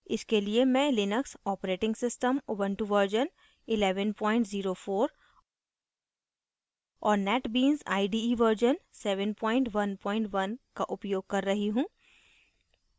इसके लिए मैं लिनक्स operating system ऊबंटु 1104 और netbeans ide 711 का उपयोग कर रही हूँ